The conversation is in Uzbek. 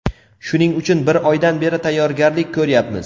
Shuning uchun bir oydan beri tayyorgarlik ko‘ryapmiz.